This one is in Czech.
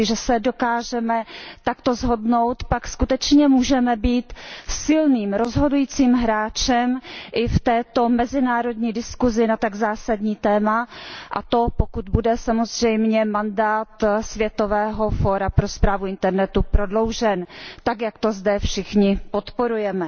Jestliže se dokážeme takto shodnout, pak skutečně můžeme být silným, rozhodujícím hráčem i v této mezinárodní diskusi na tak zásadní téma, a to pokud bude samozřejmě mandát světového Fóra pro správu internetu prodloužen, tak jak to zde všichni podporujeme.